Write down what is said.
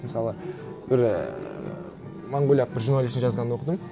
мысалы бір ііі монғолиялық бір журналисттің жазғанын оқыдым